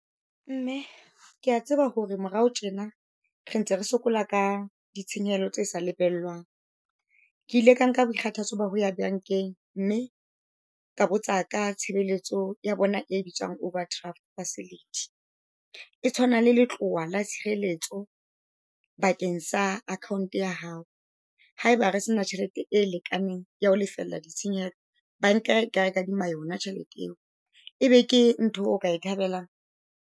Mme kea tseba hore morao tjena re ntse re sokola ka ditshenyehelo tse sa lebellwang. Ke ile ka nka boikgathatso ba ho ya bankeng, mme ka botsa ka tshebeletso ya bona e bitswang overdraft facility. E tshwana le letloha la tshireletso bakeng sa akhonto ya hao. Ha eba re sena tjhelete e lekaneng ya ho lefella ditshenyehelo, banka e ka re kadima yona tjhelete eo. E be ke ntho eo o ka e thabelang?